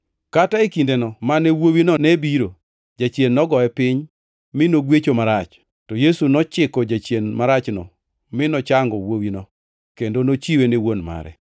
Kata e kindeno mane wuowino ne biro, jachien nogoye piny mi nogwecho marach. To Yesu nochiko jachien marachno mi nochango wuowino, kendo nochiwe ne wuon mare.